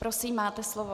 Prosím, máte slovo.